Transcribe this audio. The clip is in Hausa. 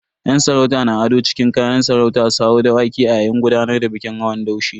Yan sarauta na ado cikin kayan sarauta su hau Dawakai a yayin gudanar da bikin hawan daushe.